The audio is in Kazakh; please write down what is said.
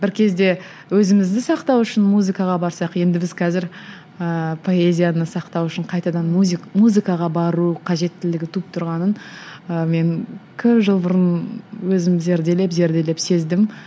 бір кезде өзімізді сақтау үшін музыкаға барсақ енді біз қазір ііі поэзияны сақтау үшін қайтадан музыкаға бару қажеттілігі туып тұрғанын ы мен көп жыл бұрын өзім зерделеп зерделеп сездім